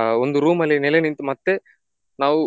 ಆ ಒಂದು room ಅಲ್ಲಿ ನೆಲೆನಿಂತು ಮತ್ತೆ ನಾವು